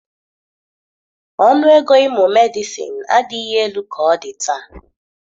Ọnụ ego ịmụ Medịsịn adịghị elu ka ọ dị taa.